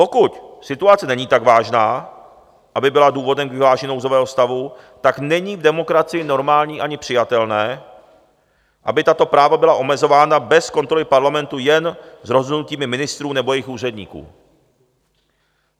Pokud situace není tak vážná, aby byla důvodem k vyhlášení nouzového stavu, tak není v demokracii normální ani přijatelné, aby tato práva byla omezována bez kontroly Parlamentu, jen z rozhodnutí ministrů nebo jejich úředníků.